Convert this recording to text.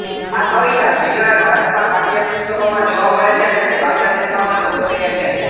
આ કવિતા ઘણીવાર ભારતમાં પાઠયપુસ્તકોમાં જોવા મળે છે અને તે બાંગ્લાદેશમાં પણ લોકપ્રિય છે